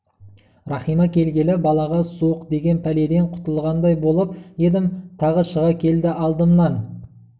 рахима келгелі балаға суықдеген пәледен құтылғандай болып едім тағы шыға келді алдымнан